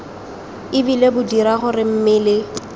ebile bo dira gore mmele